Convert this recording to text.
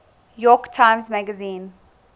york times magazine